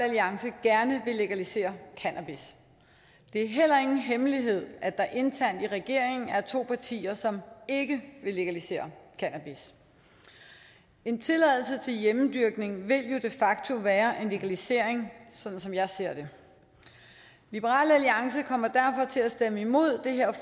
alliance gerne vil legalisere cannabis det er heller ingen hemmelighed at der internt i regeringen er to partier som ikke vil legalisere cannabis en tilladelse til hjemmedyrkning vil jo de facto være en legalisering sådan som jeg ser det liberal alliance kommer derfor til at stemme imod det her